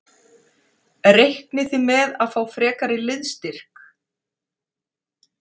Reiknið þið með að fá frekari liðsstyrk?